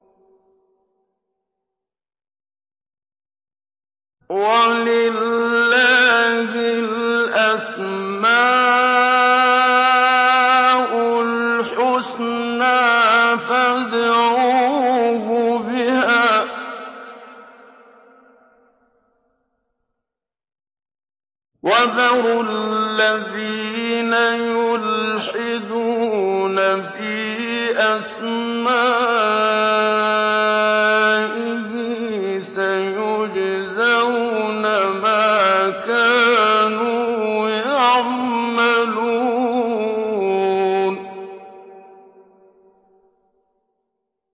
وَلِلَّهِ الْأَسْمَاءُ الْحُسْنَىٰ فَادْعُوهُ بِهَا ۖ وَذَرُوا الَّذِينَ يُلْحِدُونَ فِي أَسْمَائِهِ ۚ سَيُجْزَوْنَ مَا كَانُوا يَعْمَلُونَ